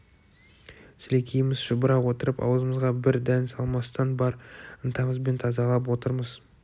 сілекейіміз шұбыра отырып аузымызға бір дән салмастан бар ынтамызбен тазалап отырмыз